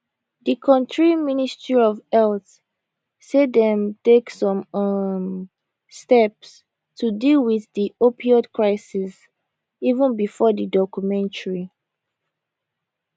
di kontri ministry of health say dem take some um steps to deal wit di opioid crisis even bifor di documentary